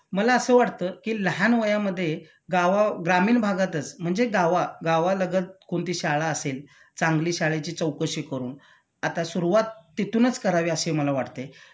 मला असं वाटत कि लहान वयामध्ये गावा ग्रामीण भागातच म्हणजे गावा गावालगत कोणती शाळा असेल चांगली शाळेची चौकशी करून आता सुरुवात तिथूनच करावी अशी मला वाटतंय